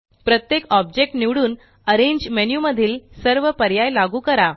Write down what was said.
प्रत्येक ऑब्जेक्ट निवडून arrange menu मधील सर्व पर्याय लागू करा